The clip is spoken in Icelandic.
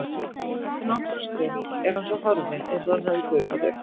Eftir nokkra stund er hann svo horfinn eins og hann hafi gufað upp.